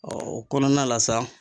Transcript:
o kɔnɔna la sa